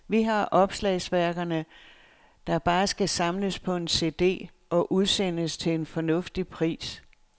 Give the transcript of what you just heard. Vi har opslagsværkerne, der bare skal samles på en cd og udsendes til en fornuftig pris.